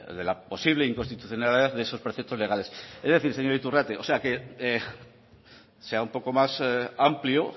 de la posible inconstitucionalidad de esos preceptos legales es decir señor iturrate o sea sea un poco más amplio